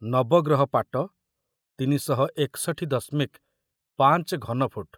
ନବଗ୍ରହ ପାଟ ତିନି ଶହ ଏକଷଠୀ ଦଶମିକ ପାଞ୍ଚ ଘନଫୁଟ